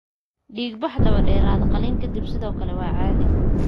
Dhiigbax daba dheeraada qalliinka ka dib sidoo kale waa caadi.